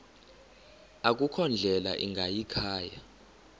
akukho ndlela ingayikhaya